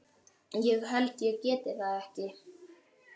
ég held ég geti það ekki.